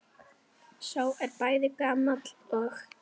Sá er bæði gamall og.